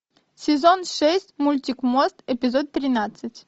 сезон шесть мультик мост эпизод тринадцать